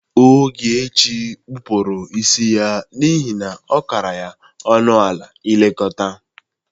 Ogechi kpụrụ isi ya n'ihe na ọ kara ya ọnụ ala ilekọta.